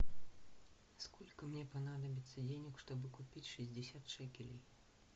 сколько мне понадобится денег чтобы купить шестьдесят шекелей